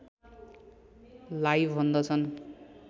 लाई भन्दछन्